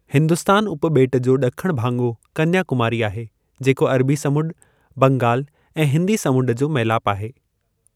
हिंदुस्तान उपॿेटु जो ॾखणो भाङो कन्या कुमारी आहे जेको अरबी समुंड, बंगालु ऐं हिन्दी समंड जो मेलापु आहे।